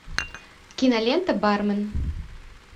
кинолента бармен